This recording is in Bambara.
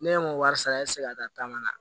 Ne ye n ko wari sara e tɛ se ka taama na